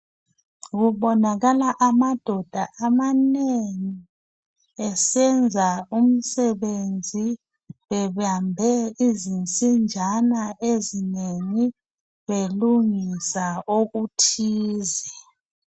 Kubonakala amadoda amanengi, esenza umsebenzi bebambe izinsinjana ezinengi, belungisa okuthize.